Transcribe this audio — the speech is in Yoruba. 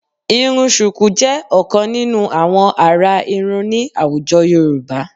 Irun ṣùkú jẹ́ ọ̀kan nínú àwọn àrà irun ní àwùjọ Yorùbá